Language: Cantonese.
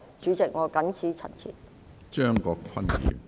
主席，我謹此陳辭。